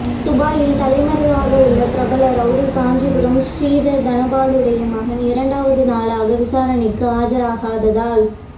துபாயில் தலைமறைவாகவுள்ள பிரபல ரவுடி காஞ்சிபுரம் ஸ்ரீதர் தனபாலுடைய மகன் இரண்டாவது நாளாக விசாரணைக்கு ஆஜராகாததால்